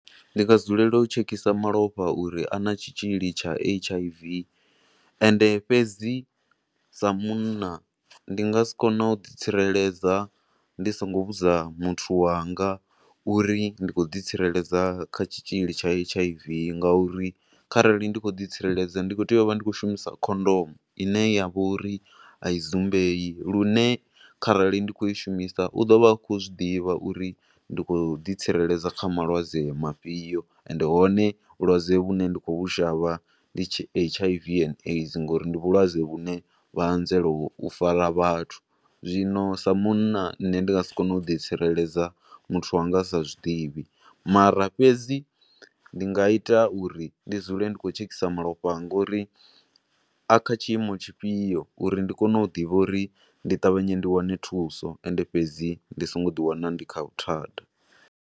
Ndi nga dzulela u tshekisa malofha uri ana tshitzhili tsha H_I_V, ende fhedzi sa munna ndi nga si kone u ḓi tsireledza ndi songo vhudza muthu wanga uri ndi khou ḓi tsireledza kha tshitzhili tsha H_I_V nga uri kharali ndi khou ḓi tsireledza ndi khou tea u vha ndi khou shumisa khondomu, ene ya vha uri a i dzumbei, lune kharali ndi khou ishumisa u ḓo vha a khou zwi ḓivha uri ndi khou ḓi tsireledza kha malwadze mafhio, ende hone vhulwadze vhune ndi khou vhu shavha ndi H_I_V and AIDS, ngo uri ndi vhulwadze vhu ne vha anzela u fara vhathu. Zwino sa munna nne ndi nga si kone u ḓi tsireledza muthu wanga a sa zwidivhi, mara fhedzi ndi nga ita uri ndi dzule ndi khou tshekhisa malofha anga uri a kha tshiimo tshifhio uri ndi kone u ḓivha uri ndi ṱavhanye ndi wane thuso, ende fhedzi ndi songo ḓi wana ndi kha vhuthada.